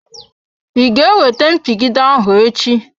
I ga ewete mpigide ahụ echi?